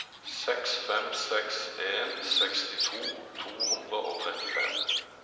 seks fem seks en sekstito to hundre og trettifem